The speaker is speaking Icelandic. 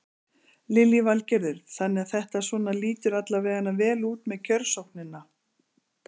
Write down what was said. Lillý Valgerður: Þannig að þetta svona lítur alla veganna vel út með kjörsóknina?